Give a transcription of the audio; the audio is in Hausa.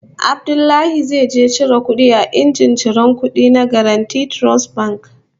Abdullahi zai je cire kudi a injin ciran kudi na Guaranty Trust Bank